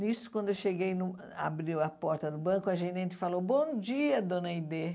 Nisso, quando eu cheguei num, abriu a porta do banco, a gerente falou, bom dia, dona Aidee.